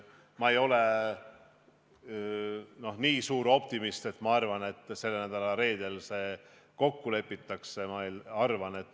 Ma ei ole nii suur optimist, et arvaksin, et selle nädala reedel milleski kokku lepitakse.